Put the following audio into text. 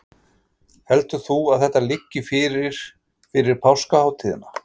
Heldur þú að þetta liggi fyrir fyrir páskahátíðina?